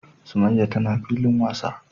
summaiya tana filin wasa.